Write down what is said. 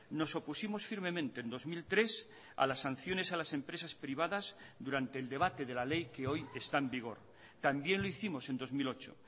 nos opusimos firmemente en dos mil tres a las sanciones a las empresas privadas durante el debate de la ley que hoy está en vigor también lo hicimos en dos mil ocho